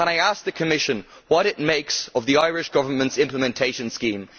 Can I ask the Commission what it makes of the Irish Government's implementation scheme?